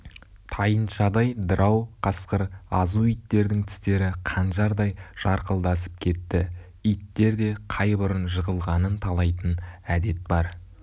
тайыншадай дырау қасқыр азу иттердің тістері қанжардай жарқылдасып кетті иттерде қай бұрын жығылғанын талайтын әдет бар